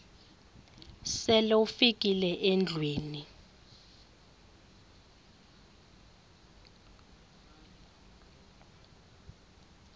sele ufikile endlwini